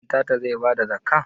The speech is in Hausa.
Ɗantata zai basa zakkah?